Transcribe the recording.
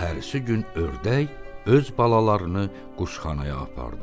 Səhərisi gün ördək öz balalarını quşxanaya apardı.